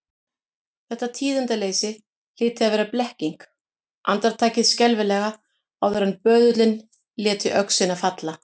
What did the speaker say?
Þetta tíðindaleysi hlyti að vera blekking, andartakið skelfilega áður en böðullinn léti öxina falla.